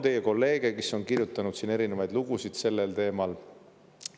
Teie kolleegid on kirjutanud erinevaid lugusid sellel teemal.